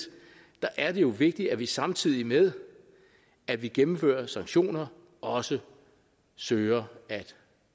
er det jo vigtigt at vi samtidig med at vi gennemfører sanktioner også søger at